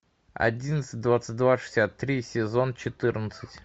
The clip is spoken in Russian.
одиннадцать двадцать два шестьдесят три сезон четырнадцать